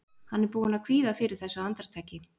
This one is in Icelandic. Hann er búinn að kvíða fyrir þessu andartaki.